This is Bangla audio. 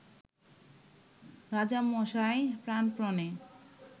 রাজামশাই প্রাণপণে